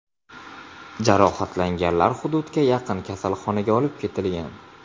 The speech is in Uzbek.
Jarohatlanganlar hududga yaqin kasalxonaga olib ketilgan.